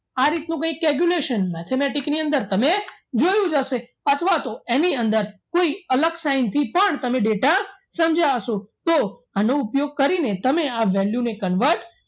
આ રીતનું કંઈક calculation mathematic ની અંદર તમે જોયું જ હશે અથવા તો એની અંદર કોઈ અલગ side પણ તમે data સમજ્યા હશો તો એનો ઉપયોગ કરીને તમે આ value ને convert